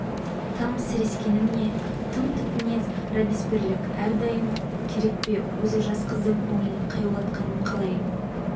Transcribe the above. тым сірескенім не тым тік мінез робеспьерлік әрдайым керек пе өзі жас қыздың көңілін қаяулатқаным қалай